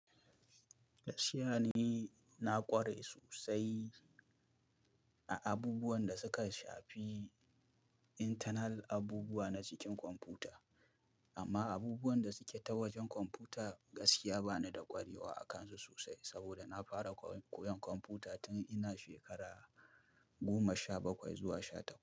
Gaskiya ni na ƙware sosai a abubuwan da suka shafi internal abubuwa na cikin kwamfuta, amma abubuwan da suke ta wajen kwamfuta gaskiya ba ni da ƙwarewa a kansu sosai saboda na fara koyon kwamfuta tun ina shekara goma sha bakwai zuwa sha tara.